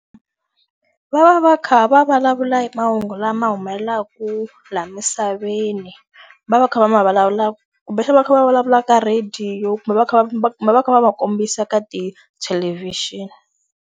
Va va va kha va vulavula hi mahungu lama humelelaka laha misaveni. Va va kha va ma vulavulaka kumbexana va kha va vulavula ka radio kumbe va kha va kumbe va kha va va kombisa ka tithelevhixini.